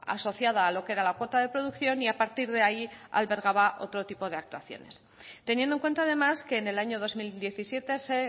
asociada a lo que era la cuota de producción y a partir de ahí albergaba otro tipo de actuaciones teniendo en cuenta además que en el año dos mil diecisiete se